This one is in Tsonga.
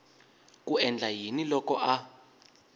ku endla yini loko a